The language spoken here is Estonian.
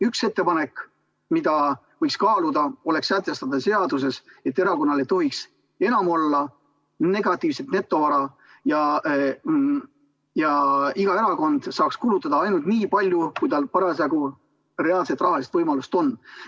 Üks ettepanek, mida võiks kaaluda, oleks sätestada seaduses, et erakonnal ei tohiks enam olla negatiivset netovara ja iga erakond saaks kulutada ainult nii palju, kui tal parasjagu reaalseid rahalisi võimalusi on.